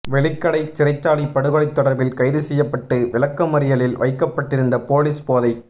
வெலிக்கடை சிறைச்சாலை படுகொலை தொடர்பில் கைதுசெய்யப்பட்டு விளக்கமறியலில் வைக்கப்பட்டிருந்த பொலிஸ் போதை